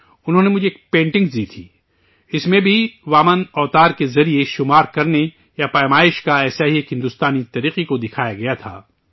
انہوں نے مجھے ایک پینٹنگ دی تھی، اس میں بھی وامن اوتار کے ذریعے گنتی یا ناپ کے ایک ایسے ہی ہندوستانی طریقے کی تصویر کشی کی گئی تھی